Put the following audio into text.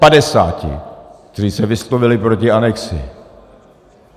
Padesáti, kteří se vyslovili proti anexi.